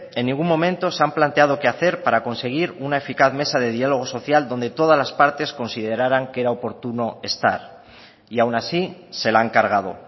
en ningún momento se han planteado queé hacer para conseguir una eficaz mesa de diálogo social donde todas las partes consideraran que era oportuno estar y aun así se la han cargado